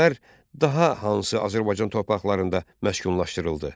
Ermənilər daha hansı Azərbaycan torpaqlarında məskunlaşdırıldı?